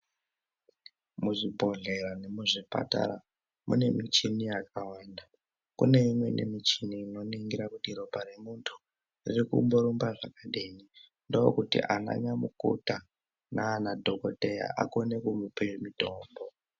Muzvibhedhleya nemuzvipatara mune michini yakwanda kune imweni michini inoningire kuti ropa remuntu riri kumborumbe zvakadini zvakadini ndokuti ananyamukota nadhokodheya akone kumupe mutombo.